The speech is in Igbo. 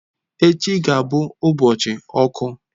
Echi ga-abụ ụbọchị ọkụ.